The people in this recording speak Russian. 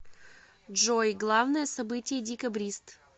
джой главное событие декабрист